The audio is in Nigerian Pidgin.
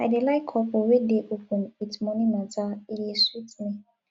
i dey like couple wey dey open wit moni mata e dey sweet me